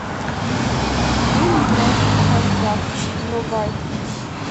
фильм брачный контракт врубай